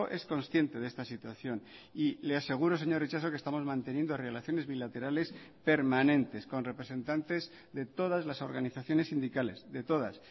es consciente de esta situación y le aseguro señor itxaso que estamos manteniendo relaciones bilaterales permanentes con representantes de todas las organizaciones sindicales de todas